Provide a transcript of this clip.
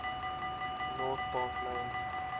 north park lane